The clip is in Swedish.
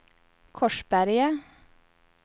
Korsberga